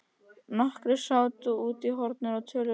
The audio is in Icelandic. Nokkrir sátu úti í hornum og töluðu saman.